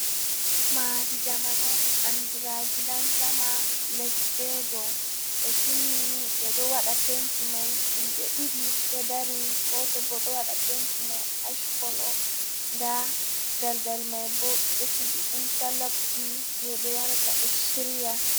"Maadi jamanu" andira gidansama les ɓe dou ɓe timmini ɓeɗo waɗa penti mai himɓe ɗiɗi ɗo dari goto bo ɗo waɗa penti mai ashkolo nda daldal mai bo ɓeɗo sigi intalokji je ɓe warata ɓe shirya.